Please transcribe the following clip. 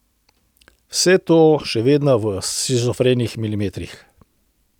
Vse to še vedno v shizofrenih milimetrih.